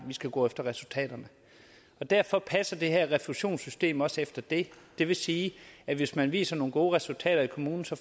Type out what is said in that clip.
skulle gå efter resultaterne derfor passer det her refusionssystem også efter det det vil sige at hvis man viser nogle gode resultater i kommunen får